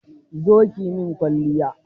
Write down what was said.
Zo ki yi min kwalliya.